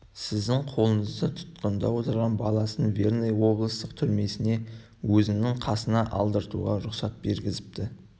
сіздің қолыңызда тұтқында отырған баласын верный облыстық түрмесіне өзінің қасына алдыруға рұқсат бергізіпті